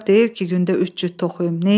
Qalın corab deyil ki, gündə üç cüt toxuyum.